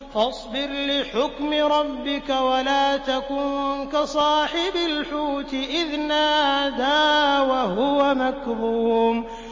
فَاصْبِرْ لِحُكْمِ رَبِّكَ وَلَا تَكُن كَصَاحِبِ الْحُوتِ إِذْ نَادَىٰ وَهُوَ مَكْظُومٌ